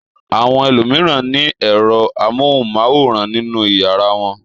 Àwọn ẹlòmíràn ní ẹ̀rọ amóhùmáwòhán nínú ìyàrá wọn.